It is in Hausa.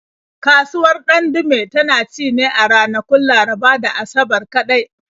Kasuwar Ɗandume tana ci ne a ranakun Laraba da Asabar kaɗai.